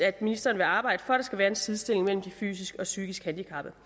at ministeren vil arbejde for at skal være en sidestilling mellem de fysisk og psykisk handicappede